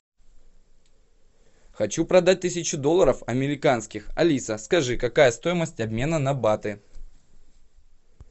хочу продать тысячу долларов американских алиса скажи какая стоимость обмена на баты